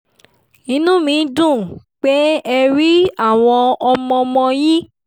inú mi dùn pé ẹ rí àwọn ọmọ-ọmọ yín